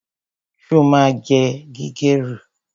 Sọ ma jẹ gírèrù?